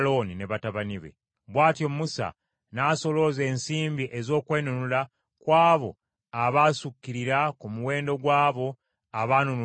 Bw’atyo Musa n’asolooza ensimbi ez’okwenunula ku abo abaasukkirira ku muwendo gw’abo abaanunulibwa Abaleevi.